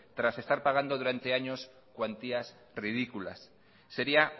tras estar pagando durante años cuantías ridículas sería